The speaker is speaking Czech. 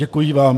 Děkuji vám.